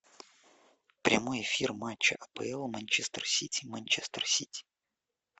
прямой эфир матча апл манчестер сити манчестер сити